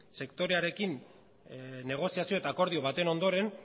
sektorearekin negoziazio eta akordio baten ondoren